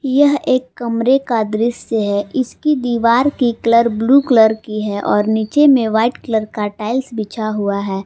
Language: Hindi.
ये एक कमरे का दृश्य है इसकी दीवार की कलर ब्लू कलर की है और नीचे में व्हाइट का टाइल्स बिछा हुआ है।